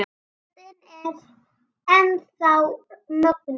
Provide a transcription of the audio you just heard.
Röddin er enn þá mögnuð.